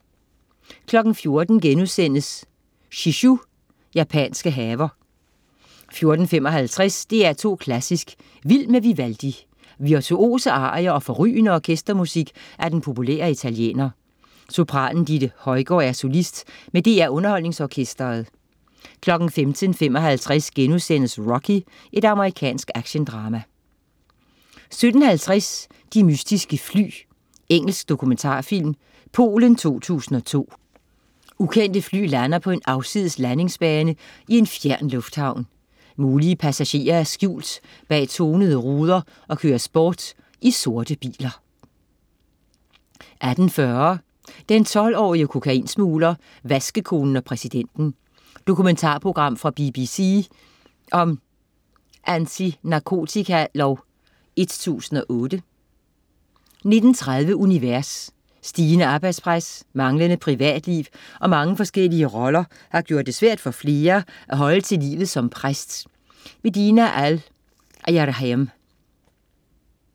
14.00 Shishu: Japanske haver* 14.55 DR2 Klassisk. "Vild med Vivaldi". Virtuose arier og forrygende orkestermusik af den populære italiener. Sopranen Ditte Højgaard er solist med DR UnderholdningsOrkestret 15.55 Rocky.* Amerikansk actiondrama 17.50 De mystiske fly. Engelsk dokumentarfilm. Polen 2002: Ukendte fly lander på en afsides landingsbane i en fjern lufthavn. Mulige passagerer er skjult bag tonede ruder og køres bort i sorte biler 18.40 Den 12-årige kokainsmugler, vaskekonen og præsidenten. Dokumentarprogram fra BBC om Antinarkotika-lov 1008 19.30 Univers. Stigende arbejdspres, manglende privatliv og mange forskellige roller har gjort det svært for flere at holde til livet som præst. Dina Al-Erhayem